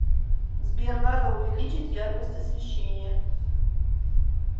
сбер надо увеличить яркость освещения